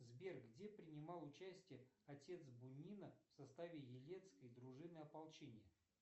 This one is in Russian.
сбер где принимал участие отец бунина в составе елецкой дружины ополчения